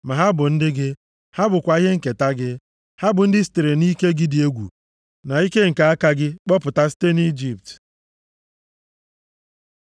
Ma ha bụ ndị gị, ha bụkwa ihe nketa gị. Ha bụ ndị i sitere nʼike gị dị egwu na ike nke aka gị kpọpụta site nʼIjipt.”